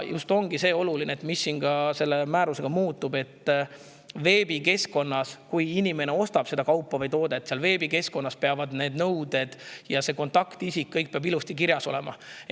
Oluline ongi just see, mis selle määrusega muutub: kui inimene ostab veebikeskkonnast kaupa, tooteid, siis seal peavad kõik need nõuded ja kontaktisik ilusti kirjas olema.